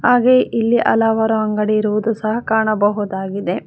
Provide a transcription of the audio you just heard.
ಹಾಗೆ ಇಲ್ಲಿ ಹಲವಾರು ಅಂಗಡಿ ಇರುವುದು ಸಹ ಕಾಣಬಹುದಾಗಿದೆ.